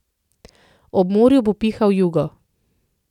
Ob morju bo pihal jugo.